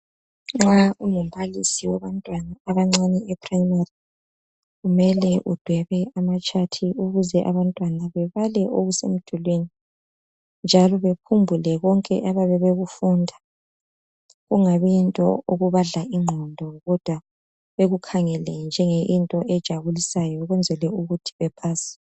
Nxa ungumbalisi wabantwana abancane eprimary, kumele udwebe amatshathi ukuze abantwana babale okusemdulwini njalo bekhumbuke konke abayabe bekufunda . Kungabi yinto ebadla ingqondo kodwa beyikhangele njengento ejabulisayo ukwenzela ukuthi bepase.